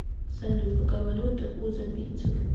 салют какая валюта у замбийцев